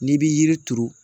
N'i bi yiri turu